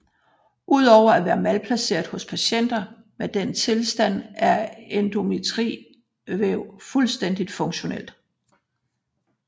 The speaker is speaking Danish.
Ud over at være malplaceret hos patienter med denne tilstand er endometrievæv fuldstændigt funktionelt